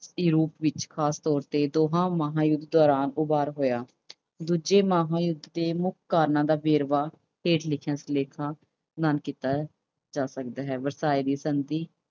Europe ਵਿੱਚ ਖਾਸ ਤੌਰ ਤੇ ਦੋਹਾਂ ਮਹਾਂਯੁੱਧ ਦੌਰਾਨ ਉਭਾਰ ਹੋਇਆ। ਦੂਜੇ ਮਹਾਂਯੁੱਧ ਦੇ ਮੁੱਖ ਕਾਰਨਾਂ ਦਾ ਵੇਰਵੇ ਹੇਠ ਲਿਖੀਆਂ ਨਾਲ ਕੀਤਾ ਜਾ ਸਕਦਾ ਹੈ। ਵਰਸਾਏ ਦੀ ਸੰਧੀ